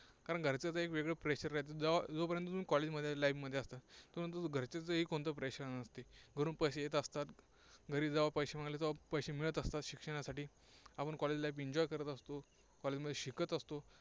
कारण घरच्यांचही वेगळं pressure राहतं. जोपर्यंत तुम्ही College life मध्ये असता तोपर्यंत घरच्यांचंही कोणतं Pressure नसतं. घरून पैसे येत असतात. घरी जेव्हा पैसे मागितले तेव्हा पैसे मिळत असतात शिक्षणासाठी. आपण college life enjoy करत असतो. College मध्ये शिकत असतो.